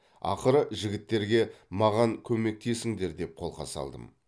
ақыры жігіттерге маған көмектесіңдер деп қолқа салдым